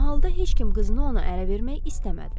Mahalda heç kim qızını ona ərə vermək istəmədi.